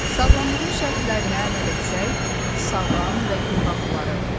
Sağlamlığın şərtlərinə əməl etsək, sağlam və gümrah olarıq.